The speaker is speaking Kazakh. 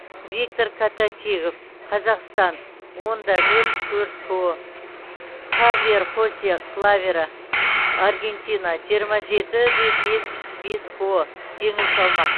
виктор коточигов қазақстан он да нөл төрт ко хавьер хосе клаверо аргентина жиырма жеті де бес бес ко жеңіл салмақ